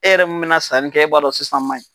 E yɛrɛ mun mɛna sanni kɛ e b'a dɔn sisan man ɲi.